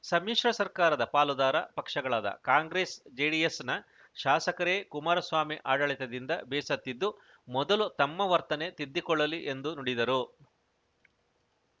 ಸಮ್ಮಿಶ್ರ ಸರ್ಕಾರದ ಪಾಲುದಾರ ಪಕ್ಷಗಳಾದ ಕಾಂಗ್ರೆಸ್‌ಜೆಡಿಎಸ್‌ನ ಶಾಸಕರೇ ಕುಮಾರಸ್ವಾಮಿ ಆಡಳಿತದಿಂದ ಬೇಸತ್ತಿದ್ದು ಮೊದಲು ತಮ್ಮ ವರ್ತನೆ ತಿದ್ದಿಕೊಳ್ಳಲಿ ಎಂದು ನುಡಿದರು